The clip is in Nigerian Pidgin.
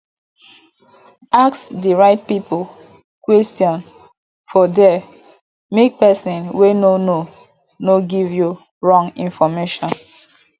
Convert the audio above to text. ask di right pipo questions for there make persin wey no know no give you wrong information